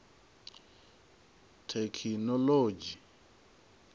thekhinolodzhi